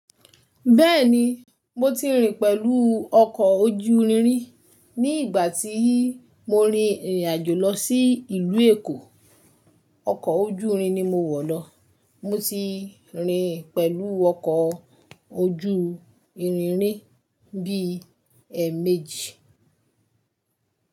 Bẹ́ẹ̀ni, mo ti rìn pẹ̀lú ọkọ̀ ojú irin rin. Ni ìgbà tí mo rin ìrìn àjò lọ sí ìlú Èkó, ọkọ̀ ojú irin ni mo wọ̀ lọ. Mo ti rìn pẹ̀lú ọkọ̀ ojú irin rí bí ẹ̀ẹ̀mejì.